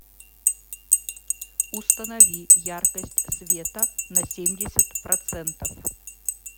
установи яркость света на семьдесят процентов